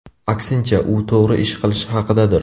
Aksincha, u to‘g‘ri ish qilish haqidadir.